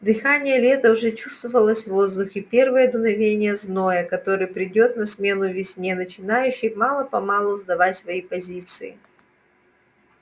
дыхание лета уже чувствовалось в воздухе первое дуновение зноя который придёт на смену весне начинавшей мало-помалу сдавать свои позиции